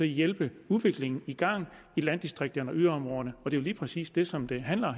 hjælpe udviklingen i gang i landdistrikterne og yderområderne det lige præcis det som det her handler